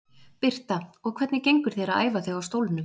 Birta: Og hvernig gengur þér að æfa þig á stólnum?